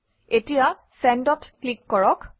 এতিয়া Send অত click কৰক